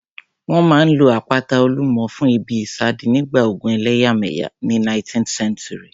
Wọ́n máa n lo àpáta Olúmọ fún ìbí ìsádi nígbà ogun ẹlẹ́yàmẹ̀yà ní 19th century